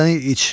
Badəni iç.